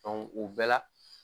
Dɔnku o bɛɛ la